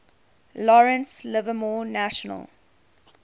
lawrence livermore national